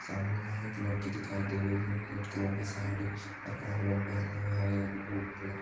सामने यहाँ एक लड़की दिखाई दे रही है जिसने रेड कलर की सारी और